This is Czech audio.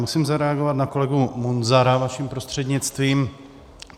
Musím zareagovat na kolegu Munzara vaším prostřednictvím.